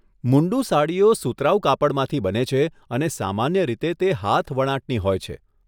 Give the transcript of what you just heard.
મુન્ડું સાડીઓ સુતરાઉ કાપડમાંથી બને છે અને સામાન્ય રીતે તે હાથવણાટની હોય છે.